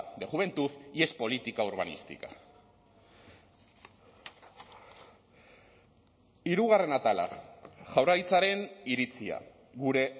de juventud y es política urbanística hirugarren atala jaurlaritzaren iritzia gure